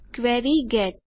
query get